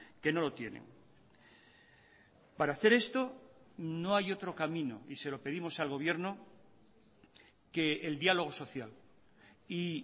que no lo tienen para hacer esto no hay otro camino y se lo pedimos al gobierno que el diálogo social y